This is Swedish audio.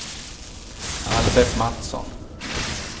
Albert Mattsson